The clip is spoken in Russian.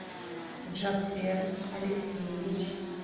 джафер алексеевич